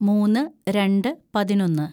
മൂന്ന് രണ്ട് പതിനൊന്ന്‌